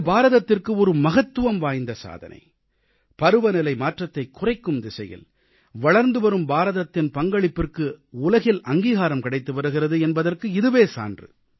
இது பாரதத்திற்கு ஒரு மகத்துவம்வாய்ந்த சாதனை பருவநிலைமாற்றத்தைக் குறைக்கும் திசையில் வளர்ந்துவரும் பாரதத்தின் பங்களிப்பிற்கு உலகில் அங்கீகாரம் கிடைத்துவருகிறது என்பதற்கு இதுவே சான்று